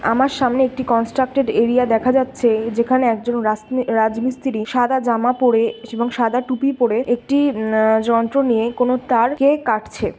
আমার সামনে একটি কনস্ট্রাক্টটেড এরিয়া দেখা যাচ্ছে-এ। যেখানে একজন রাস-রাজমিস্ত্রি সাদা জামা পরে এবং সাদা টুপি পড়ে একটি অ্যা যন্ত্র নিয়ে কোন তারকে কাটছে।